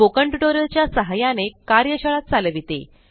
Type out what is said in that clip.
spoken tutorial च्या सहायाने कार्यशाळा चालविते